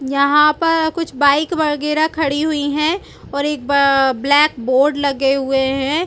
यहाँ पर कुछ बाइक वगैरह खड़ी हुई है और एक ब ब्लैक बोर्ड लगे हुए हैं।